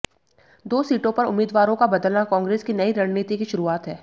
दो सीटों पर उम्मीदवारों का बदलना कांग्रेस की नई रणनीति की शुरुआत है